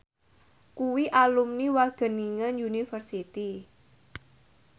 kuwi alumni Wageningen University